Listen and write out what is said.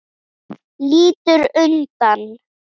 Lítur undan.